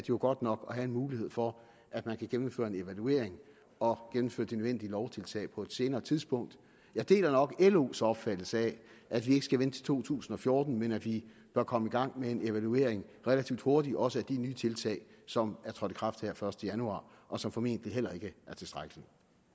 jo godt nok at have en mulighed for at man kan gennemføre en evaluering og gennemføre de nødvendige lovtiltag på et senere tidspunkt jeg deler nok los opfattelse af at vi ikke skal vente til to tusind og fjorten men at vi bør komme i gang med en evaluering relativt hurtigt også af de nye tiltag som er trådt i kraft her den første januar og som formentlig heller ikke er tilstrækkelige